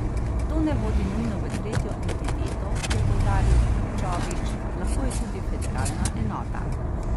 To ne vodi nujno v tretjo entiteto, je poudaril Čović, lahko je tudi federalna enota.